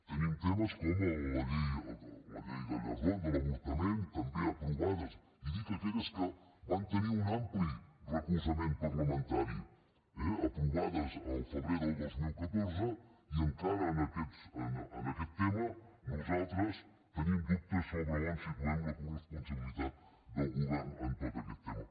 tenim temes com el de la llei gallardón de l’avortament també aprovades i dic aquelles que van tenir un ampli recolzament parlamentari eh aprovades el febrer del dos mil catorze i encara en aquest tema nosaltres tenim dubtes sobre on situem la coresponsabilitat del govern en tot aquest tema